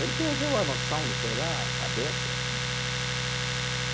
Ele perdeu a noção, não, sei lá, a cabeça. Uhum.